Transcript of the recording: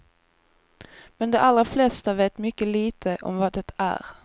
Men de allra flesta vet mycket lite om vad det är.